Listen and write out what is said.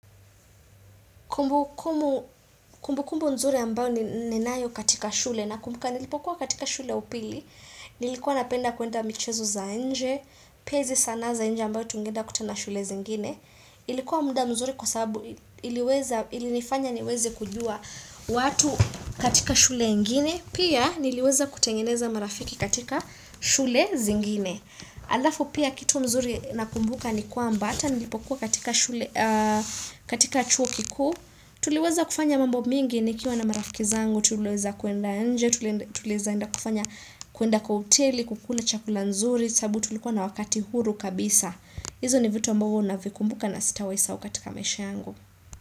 Kumbu kumbu kumbu mzuri ambayo ninayo katika shule na kumbuka nilipokuwa katika shule ya upili, nilikuwa napenda kuenda michezo za nje, pia izi sanaa za nje ambayo tungenda kutana shule zingine, ilikuwa muda mzuri kwa sababu iliweza, ili nifanya niweze kujua watu katika shule ingine, pia niliweza kutengeneza marafiki katika shule zingine. Alafu pia kitu mzuri na kumbuka ni kuamba ata nilipokuwa katika chuo kikuu tuliweza kufanya mambo mingi ni kiwa na marafaki zangu tulieza kuenda nje, tulieza enda kufanya kuenda kwa hoteli kukula chakula nzuri sababu tulikuwa na wakati huru kabisa izo ni vitu ambogo na vikumbuka na sitawai sahau katika maisha yangu.